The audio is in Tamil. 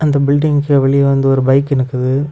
இந்த பில்டிங்கு வெளியே வந்து ஒரு பைக் நிக்குது.